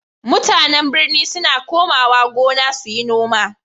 MutAnan birni suna komawa gona suyi noma